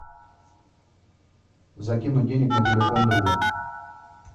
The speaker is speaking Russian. закинуть денег на телефон другу